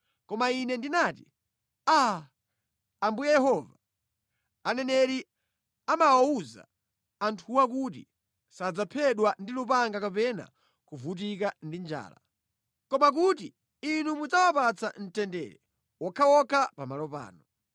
Koma ine ndinati, “Aa, Ambuye Yehova, aneneri amawawuza anthuwo kuti, sadzaphedwa ndi lupanga kapena kuvutika ndi njala. Koma kuti Inu mudzawapatsa mtendere wokhawokha pamalo pano.”